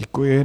Děkuji.